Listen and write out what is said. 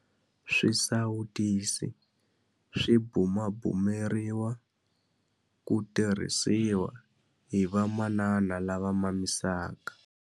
Swisawutisi swi bumabumeriwa ku tirhisiwa hi vamanana lava mamisaka.